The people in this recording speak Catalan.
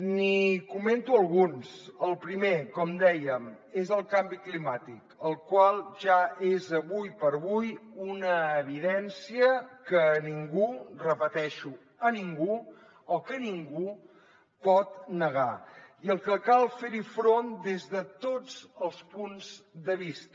n’hi comento alguns el primer com dèiem és el canvi climàtic el qual ja és avui per avui una evidència que ningú ho repeteixo ningú pot negar i al qual cal fer front des de tots els punts de vista